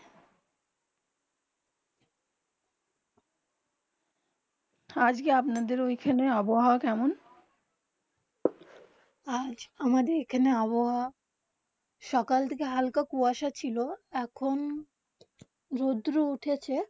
আজকে আপনাদের ওখানে আবহাওয়া কেমন? আজ আমাদের এখানে আবহাওয়া সকাল থেকে হালকা কুহাসা ছিল এখন রোদ্র উঠেছে